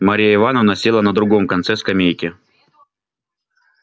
марья ивановна села на другом конце скамейки